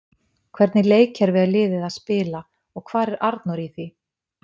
Hvernig leikkerfi er liðið að spila og hvar er Arnór í því?